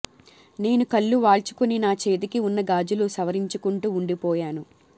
నేను కళ్ళు వాల్చుకుని నా చేతికి వున్న గాజులు సవరించుకుంటూ ఉండిపోయాను